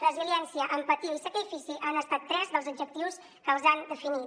resiliència empatia i sacrifici han estat tres dels adjectius que els han definit